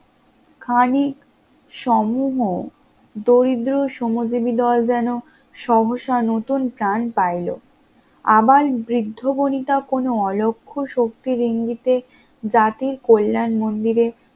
খানি সমূহ দরিদ্র শ্রমজীবী দল যেন সমস্যার নতুন প্রাণ পাইলো, আবাল বৃদ্ধ বণিতা কোন অলক্ষ শক্তির ইঙ্গিতে জাতির কল্যাণ মন্দিরে